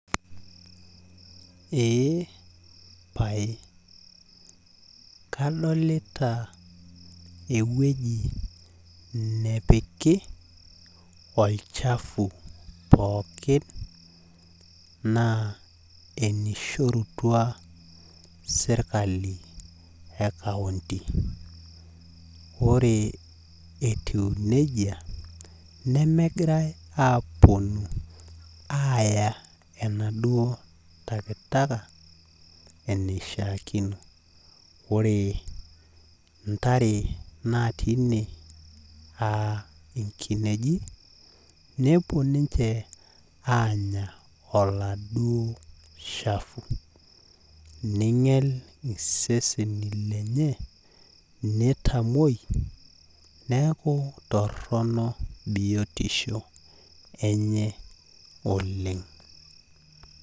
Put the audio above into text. Eepae kadolita ewueji nepiki olchafu pookin naa ewueji naishorutua sirkali e countyc. Ore etiu neji nemegirae aponu aya enaduo takitaka enaduo wueji neishiaakino. Ore intare naati ine aa nkinejik nepuo ninche anya oladuoo shafu , ninyial iseseni lenye niaku toronok biotisho enye oleng.